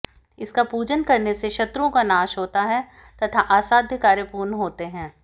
इसका पूजन करने से शत्रुओं का नाश होता है तथा असाध्य कार्य पूर्ण होते हैं